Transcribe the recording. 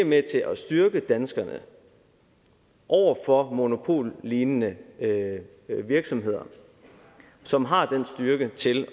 med til at styrke danskerne over for monopollignende virksomheder som har styrken til